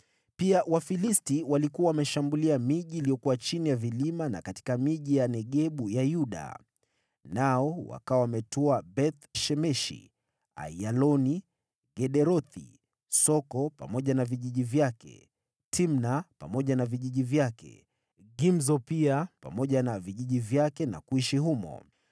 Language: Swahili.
Pia Wafilisti walikuwa wameshambulia miji iliyokuwa chini ya vilima na katika miji ya Negebu ya Yuda. Nao wakawa wametwaa Beth-Shemeshi, Aiyaloni, Gederothi, Soko pamoja na vijiji vyake, Timna pamoja na vijiji vyake, Gimzo pia pamoja na vijiji vyake na kuishi humo.